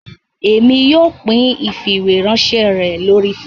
Èmi yóò pín ifiweranṣẹ rẹ lórí facebook